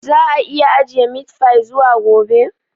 Za a iya ajiye meat fy zuwa gobe?